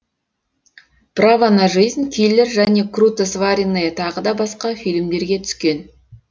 право на жизнь киллер және круто сваренные тағы басқа фильмдеріне түскен